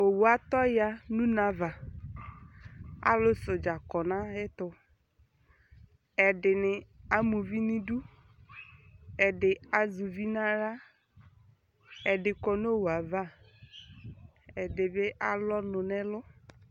Owu atɔ ya nʋ une ava Alʋsɛʋdza kɔ nʋ ayɛtʋ Ɛdɩnɩ ama uvi nʋ idu, ɛdɩ azɛ uvi nʋ aɣla Ɛdɩ kɔ nʋ owu ava, ɛdɩ bɩ alʋ ɔnʋ nʋ ɛlʋ